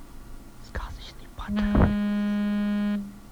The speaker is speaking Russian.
сказочный патруль